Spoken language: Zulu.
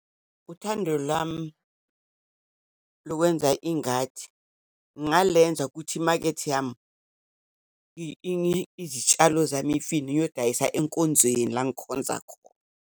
Uthando lami lokwenza ingadi ngingalenza ukuthi imakethe yami izitshalo zami, imfino, ngiyodayisa enkonzweni, la ngikhonza khona.